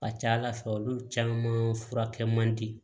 Ka ca ala fɛ olu caman furakɛ man di